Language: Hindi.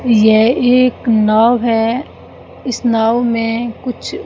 यह एक नाव है इस नाव में कुछ--